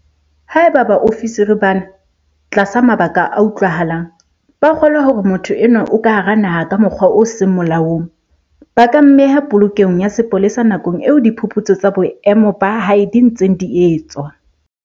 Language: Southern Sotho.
Haeba baofisiri bana, tlasa mabaka a utlwahalang, ba kgolwa hore motho enwa o ka hara naha ka mokgwa o seng molaong, ba ka mmeha polokelong ya sepolesa nakong eo diphuputso tsa boemo ba hae di ntseng di etswa.